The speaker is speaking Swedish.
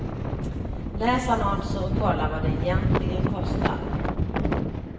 Läs annonser och kolla vad det egentligen kostar.